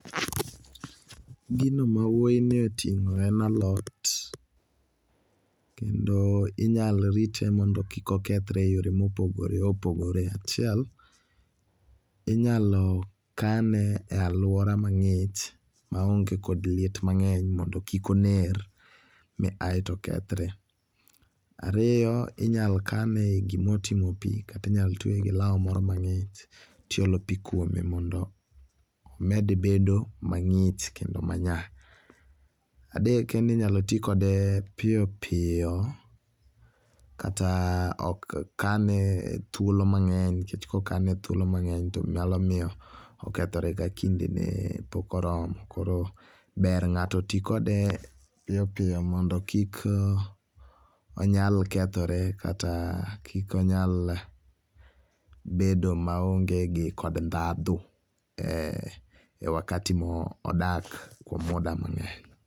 Gino mawuoy ni otingo en alot kendo inyalo rite mondo kik okethre e yore ma opogore opogore. Achiel inyalo kane e aluora mangich maonge kod liet mangeny mondo kik oner ma aito okethre. Ariyo inyal kane e gima otingo pi kata inyal tweye gi lao moro mangich tiolo pii kuome mondo omed bedo mangich kendo ma nyaa. Adek en ni inyalo tii kode piyo piyo kata ok kane e thuolo mangeny nikech ka okane thuolo mangeny to nyalo miyo okethotre ka kinde ne pok oromo koro ber mondo ngato tii kode piyo piyo mondo kik onyal kethore kata kik onyal bedo maonge gi kod ndhandhu e wakati ma odak kuom muda mangeny